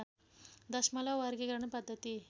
दशमलव वर्गीकरण पद्धति